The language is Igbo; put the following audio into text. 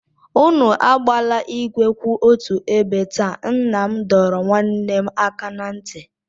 Unu agbala igwe kwụ otu ebe taa, nna m dọrọ nwanne m aka na ntị.